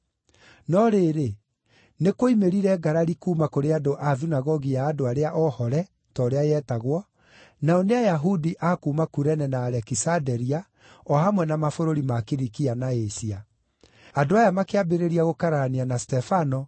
No rĩrĩ, nĩ kuoimĩrire ngarari kuuma kũrĩ andũ a Thunagogi ya Andũ arĩa Oohore (ta ũrĩa yetagwo), nao nĩ Ayahudi a kuuma Kurene na Alekisanderia o hamwe na mabũrũri ma Kilikia na Asia. Andũ aya makĩambĩrĩria gũkararania na Stefano,